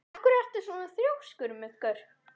Af hverju ertu svona þrjóskur, Muggur?